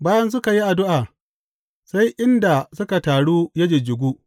Bayan suka yi addu’a, sai inda suka taru ya jijjigu.